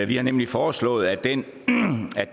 vi har nemlig foreslået at den